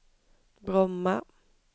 Bromma